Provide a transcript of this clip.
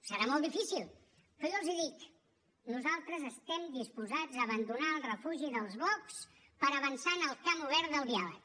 serà molt difícil però jo els dic nosaltres estem disposats a abandonar el refugi dels blocs per avançar en el camp obert del diàleg